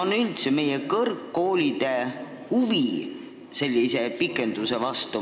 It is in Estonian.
Ja kui suur on meie kõrgkoolide huvi sellise pikenduse vastu?